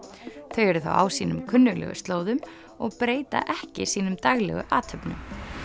þau eru á sínum kunnuglegu slóðum og breyta ekki sínum daglegu athöfnum